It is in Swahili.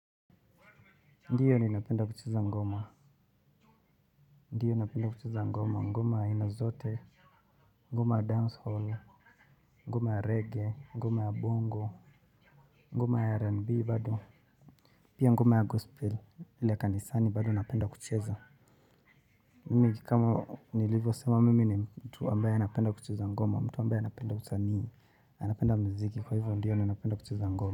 Ndio ninapenda kucheza ngoma. Ndio napenda kucheza ngoma. Ngoma aina zote, ngoma ya dancehall, ngoma ya reggae, ngoma ya bongo, ngoma ya R&B bado. Pia ngoma ya gospel, ile ya kanisani bado napenda kucheza. Mimi kama nilivyo sema mimi ni mtu ambaye anapenda kucheza ngoma, mtu ambaye anapenda usanii, anapenda muziki. Kwa hivyo ndio ninapenda kucheza ngoma.